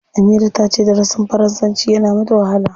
Amira ta ce darasin faransanci yana mata wahala.